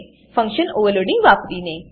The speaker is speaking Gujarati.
ફંક્શન ઓવરલોડીંગ વાપરીને